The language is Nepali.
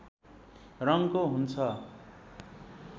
रङको हुन्छ